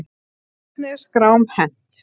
Hvernig er skrám hent?